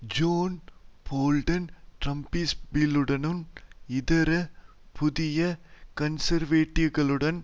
zone Bolton டிரம்ஸ்பீல்ட்டுடனும் இதர புதிய கன்சர்வேட்டிவ்களுடனும்